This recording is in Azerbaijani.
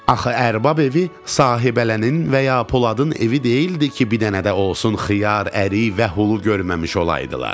Axı ərbab evi sahibələnin və ya Poladın evi deyildi ki, bir dənə də olsun xiyar, ərik və hulu görməmiş olaydılar.